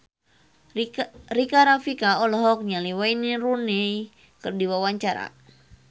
Rika Rafika olohok ningali Wayne Rooney keur diwawancara